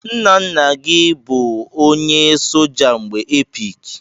Ńnà ńnà gị bụ ọnye soja n'mgbe epic.